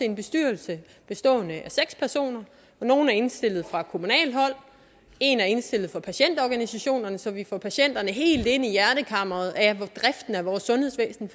en bestyrelse bestående af seks personer nogle er indstillet fra kommunalt hold og en er indstillet fra patientorganisationerne så vi får patienterne helt ind i hjertekammeret af driften af vores sundhedsvæsen